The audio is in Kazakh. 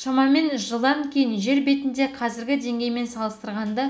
шамамен жылдан кейін жер бетінде қазіргі деңгеймен салыстырғанда